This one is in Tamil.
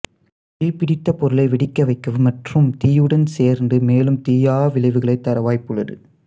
தீப்பிடித்த பொருளை வெடிக்கவைக்கவும் மற்றும் தீயுடன் சேர்ந்து மேலும் தீயா விளைவுகளைத் தர வாய்ப்புள்ளது